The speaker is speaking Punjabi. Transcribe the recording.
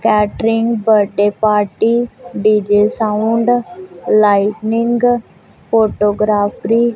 catering birthday party DJ sound lightning photography --